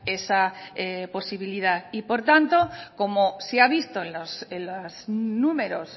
esa posibilidad y por tanto como se ha visto en los números